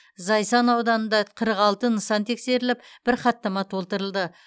зайсан ауданында қырық алты нысан тексеріліп бәір хаттама толтырылды